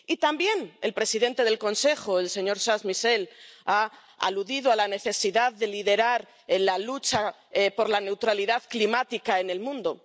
Y también el presidente del Consejo, el señor Charles Michel, ha aludido a la necesidad de liderar la lucha por la neutralidad climática en el mundo.